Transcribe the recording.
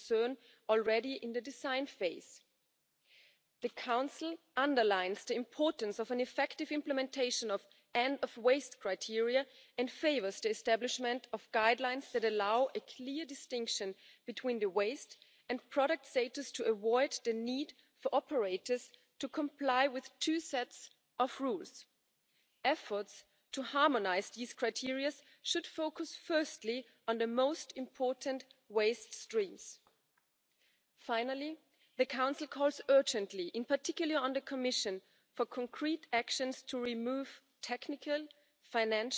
As you highlighted in your report, in the proposal for the next long term budget, the Commission foresees a Member State contribution based on the amount of non recycled plastics packaging waste. Such a contribution putting for the very first time at the EU level the price of the negative externality of not recycling will help implement the Waste Package and the Plastics Strategy. The Plastics Strategy will also help deliver the EU's energy union vision for low carbon energy efficient economy.